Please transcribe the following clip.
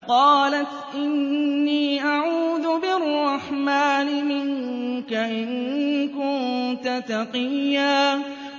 قَالَتْ إِنِّي أَعُوذُ بِالرَّحْمَٰنِ مِنكَ إِن كُنتَ تَقِيًّا